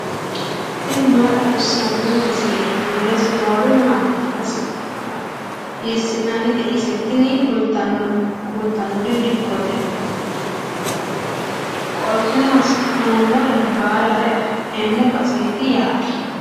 tini maa xawissanno misileeti ? mulese noori maati ? hiissinannite ise ? tini kultannori dikkote. qoltenno hasi'nummore baalare afi'neemmo baseeti yaate.